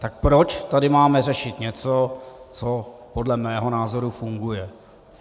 Tak proč tady máme řešit něco, co podle mého názoru funguje?